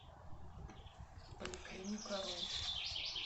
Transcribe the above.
поликлиникару